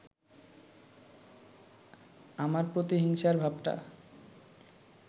আমার প্রতিহিংসার ভাবটা